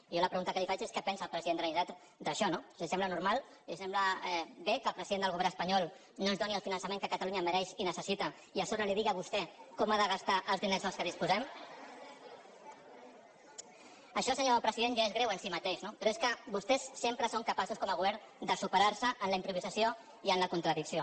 i jo la pregunta que li faig és què pensa el president de la generalitat d’això no li sembla normal li sembla bé que el president del govern espanyol no ens doni el finançament que catalunya mereix i necessita i a so·bre li digui a vostè com ha de gastar els diners de què disposem això senyor president ja és greu en si mateix no però és que vostès sempre són capaços com a govern de superar·se en la improvisació i en la contradicció